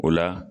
O la